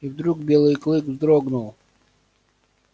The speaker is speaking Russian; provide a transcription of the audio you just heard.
и вдруг белый клык вздрогнул